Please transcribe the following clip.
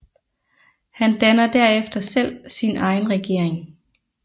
Han dannede derefter selv sin egen regering